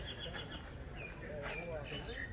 Mənə deyirdi, sənə deyirəm, sən bilirsən.